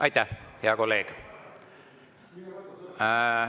Aitäh, hea kolleeg!